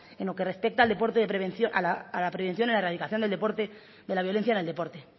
en lo que respecta a la prevención y la erradicación de la violencia en el deporte